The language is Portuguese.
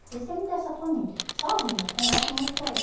Porque você me deu essa família, sozinha, eu converso muito com ele.